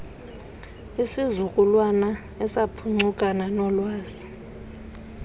isizukulwana esaphuncukana noolwazi